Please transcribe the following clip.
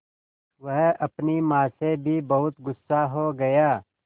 वह अपनी माँ से भी बहुत गु़स्सा हो गया